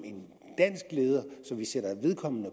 vi sætter vedkommende